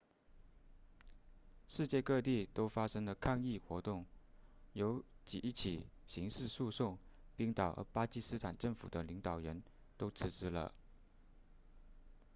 世界各地都发生了抗议活动有几起刑事诉讼冰岛和巴基斯坦政府的领导人都辞职了